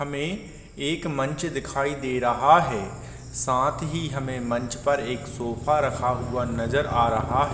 हमें एक मंच दिखाई दे रहा है साथ ही हमें मंच पर एक सोफा रखा हुआ नजर आ रहा है।